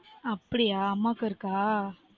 அப்படியா? அம்மாக்கும் இருக்கா?